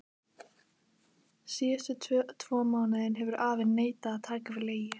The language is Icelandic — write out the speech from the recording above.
Síðustu tvo mánuði hefur afi neitað að taka við leigu.